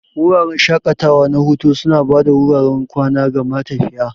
Wuraren shaƙatawa na hutu suna ba da wuraren kwana ga matafiya.